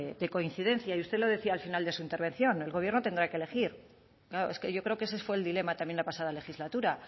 de coincidencia y usted lo decía al final de su intervención el gobierno tendrá que elegir claro es que yo creo que ese fue el dilema también la pasada legislatura